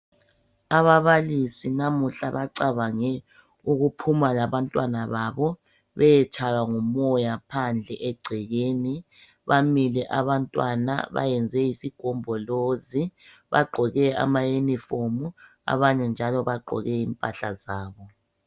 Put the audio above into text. Ababalisi namuhla bacabange ukuphuma labantwana babo beyetshaywa ngumoya phandle egcekeni. Bamile abantwana bayenze isigombolozi bagqoke ama unifomu , abanye njalo bagqoke impahla zabo .